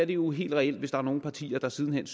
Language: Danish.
jo helt reelt hvis der er nogle partier der siden hen